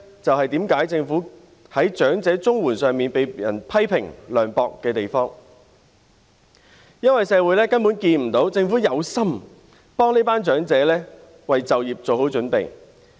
這便是政府在長者綜援一事上被人批評為涼薄的原因，因為社會根本看不到政府有心協助這群長者為就業作好準備。